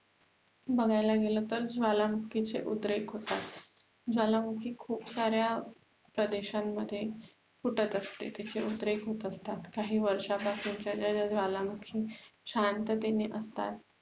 बघायला गेल तर ज्वलमुखी चे उद्रेक होतात ज्वालामुखी खुप साऱ्या प्रदेश्यांमध्ये फुटत असते तिचे उद्रेक होत असतात काही वर्षांपासूनच्यां ज्या ज्वालामुखी शांततेने असतात